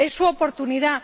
Es su oportunidad.